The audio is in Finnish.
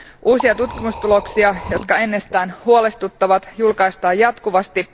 Uusia tutkimustuloksia, jotka ennestään huolestuttavat, julkaistaan jatkuvasti.